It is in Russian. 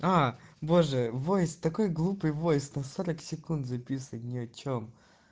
а боже бывает такой глупый войск на секунд записывает ни о чем